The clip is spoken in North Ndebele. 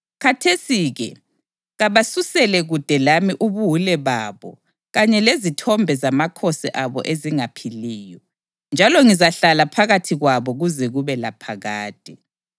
Khathesi-ke kabasusele kude lami ubuwule babo kanye lezithombe zamakhosi abo ezingaphiliyo, njalo ngizahlala phakathi kwabo kuze kube laphakade.